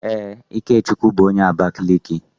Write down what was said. Ee, Ikechukwu bu onye Abakaliki